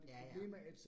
Ja ja